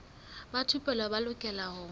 ba thupelo ba lokela ho